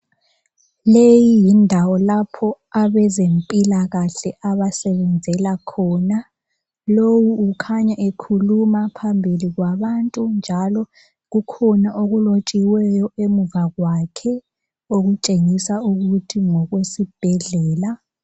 Leyi yindawo lapho abezempilakakhle abasebenzela khona lowu ukhanya ekhuluma phambili kwabantu njalo kukhona okulotshiweyo emuva kwakhe okutshengisa ukuthi ngokwesibhedlela